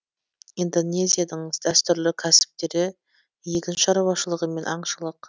индонезиядің дәстүрлі кәсіптері егін шаруашылығы мен аңшылық